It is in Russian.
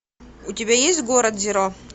у тебя есть город зеро